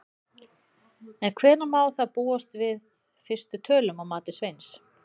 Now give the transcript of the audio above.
En hvenær má þá búast við fyrstu tölum að mati Sveins?